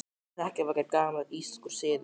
Hrekkjavaka er gamall írskur siður.